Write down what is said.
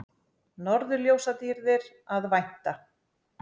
Norðurljósadýrðar að vænta